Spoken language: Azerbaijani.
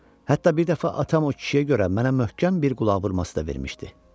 Hətta bir dəfə atam o kişiyə görə mənə möhkəm bir qulaq vurması da vermişdi.